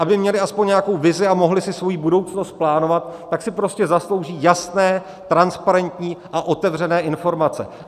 Aby měli aspoň nějakou vizi a mohli si svoji budoucnost plánovat, tak si prostě zaslouží jasné, transparentní a otevřené informace.